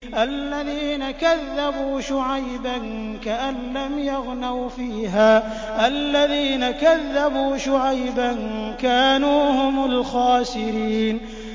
الَّذِينَ كَذَّبُوا شُعَيْبًا كَأَن لَّمْ يَغْنَوْا فِيهَا ۚ الَّذِينَ كَذَّبُوا شُعَيْبًا كَانُوا هُمُ الْخَاسِرِينَ